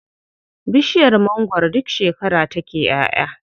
Bishiyar mangwaro duk shekara take ƴaʼya.